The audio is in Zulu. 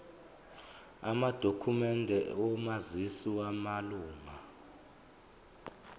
amadokhumende omazisi wamalunga